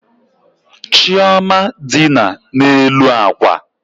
Chioma dina n'elu akwa.